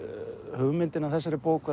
hugmyndin að þessari bók